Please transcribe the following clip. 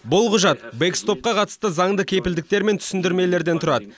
бұл құжат бэкстопқа қатысты заңды кепілдіктер мен түсіндірмелерден тұрады